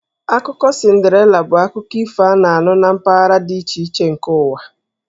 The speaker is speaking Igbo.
Akụkọ Cinderella bụ akụkọ ifo a na-anụ na mpaghara dị iche iche nke ụwa.